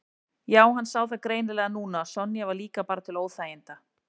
Já, hann sá það greinilega núna að Sonja var líka bara til óþæginda.